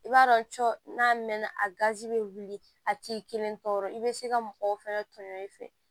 I b'a dɔn cɔ n'a mɛn na a gazi bɛ wuli a ti kelen tɔɔrɔ i be se ka mɔgɔw fɛnɛ tɔɲɔ i fɛ